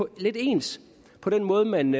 lidt ens på den måde man